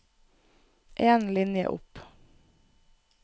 En linje opp